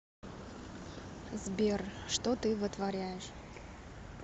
сбер что ты вытворяешь